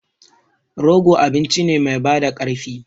Rogo abinci ne mai bada ƙarfi.